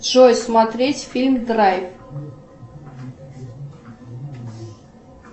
джой смотреть фильм драйв